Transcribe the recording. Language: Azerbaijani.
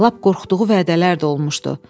Lap qorxduğu vədələr də olmuşdu.